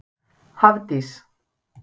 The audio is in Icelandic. Hafdís